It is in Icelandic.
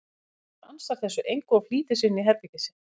Svenni ansar þessu engu og flýtir sér inn í herbergið sitt.